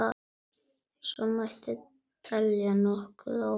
Svo mætti telja nokkuð áfram.